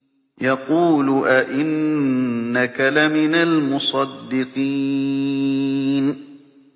يَقُولُ أَإِنَّكَ لَمِنَ الْمُصَدِّقِينَ